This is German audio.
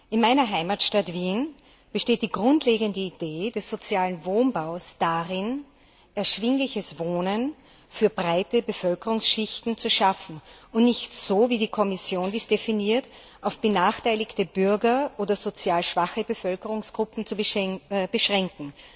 In meiner Heimatstadt Wien besteht die grundlegende Idee des sozialen Wohnbaus darin, erschwingliches Wohnen für breite Bevölkerungsschichten zu ermöglichen und nicht wie die Kommission dies definiert auf benachteiligte Bürger oder sozial schwache Bevölkerungsgruppen zu beschränken.